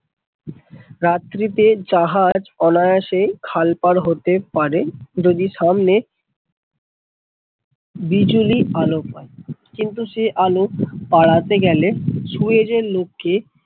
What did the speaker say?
রাত্রি তে জাহাজ অনায়াসে খাল পার হাতে পারে যদি সামনে বিজুলি আলো পায় কিন্তু সে আলো পাড়াতে গেলে সুয়েজ এর লোক কে